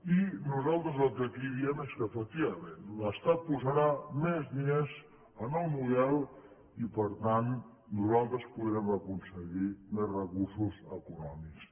i nosaltres el que aquí diem és que efectivament l’estat posarà més diners en el model i per tant nosaltres podrem aconseguir més recursos econòmics